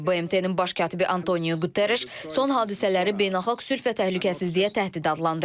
BMT-nin Baş katibi Antonio Quterreş son hadisələri beynəlxalq sülh və təhlükəsizliyə təhdid adlandırıb.